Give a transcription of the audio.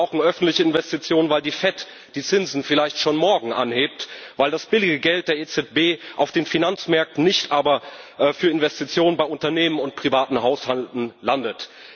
Wir brauchen öffentliche Investitionen, weil die Fed die Zinsen vielleicht schon morgen anhebt, weil das billige Geld der EZB auf den Finanzmärkten, nicht aber für Investitionen bei Unternehmen und privaten Haushalten landet.